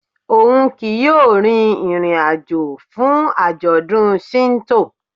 Oun kii yóò rin irin-ajo fun ajọdun Shinto.